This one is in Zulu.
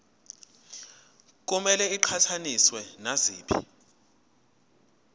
kumele iqhathaniswe naziphi